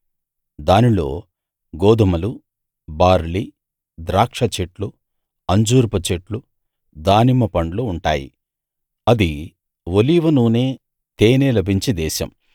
దానిలో గోదుమలు బార్లీ ద్రాక్షచెట్లు అంజూరపు చెట్లు దానిమ్మ పండ్లు ఉంటాయి అది ఒలీవ నూనె తేనె లభించే దేశం